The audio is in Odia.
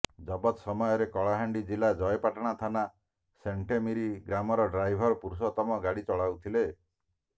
ଜବତ ସମୟରେ କଳାହାଣ୍ଡି ଜିଲ୍ଲା ଜୟପାଟଣା ଥାନା ସାଣ୍ଟେମିରି ଗ୍ରାମର ଡ୍ରାଇଭର ପୁରୁଷୋତ୍ତମ ଗାଡ଼ି ଚଳାଉଥିଲେ